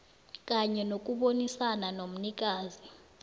kanye nokubonisana nomnikazi